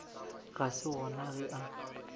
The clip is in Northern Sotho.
ga se gona ge a